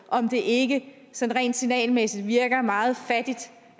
om det ikke sådan rent signalmæssigt virker meget fattigt